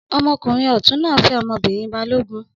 Ọmọkùnrin ọ̀tún náà fẹ́ ọmọbìnrin balógun.